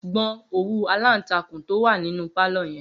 Gbo̩n òwú-aláǹtakùn tó wà nínú pálò̩ ye̩n!